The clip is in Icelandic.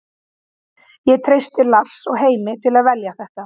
Ég treysti Lars og Heimi til að velja þetta.